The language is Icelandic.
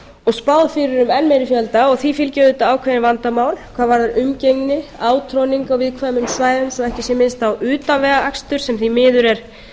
og spáð fyrir um enn meiri fjölda því fylgja auðvitað ákveðin vandamál hvað varðar umgengni átroðning á viðkvæmum svæðum svo ekki sé minnst á utanvegaakstur sem því miður er